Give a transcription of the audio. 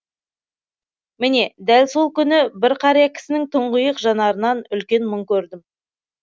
міне дәл сол күні бір қария кісінің тұңғиық жанарынан үлкен мұң көрдім